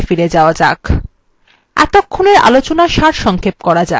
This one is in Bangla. এখন slides এ ফিরে যাওয়া যাক